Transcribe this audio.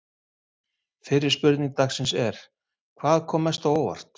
Fyrri spurning dagsins er: Hvað kom mest á óvart?